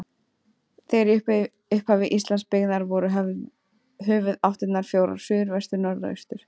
Þegar í upphafi Íslands byggðar voru höfuðáttirnar fjórar: suður, vestur, norður og austur.